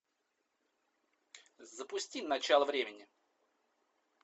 запусти начало времени